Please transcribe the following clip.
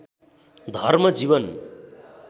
धर्म जीवन